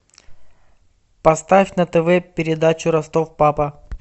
поставь на тв передачу ростов папа